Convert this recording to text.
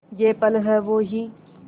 ये पल हैं वो ही